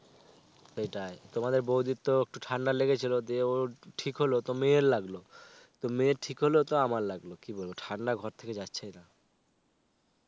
সেটাই তোমাদের বৌদির তো একটু ঠান্ডা লেগেছিলো তো দিয়ে ও ঠিক হল তো মেয়ের লাগলো তো মেয়ের ঠিক হল তো আমার লাগলো, কি বলবো, ঠান্ডা ঘর থেকে যাচ্ছেই না.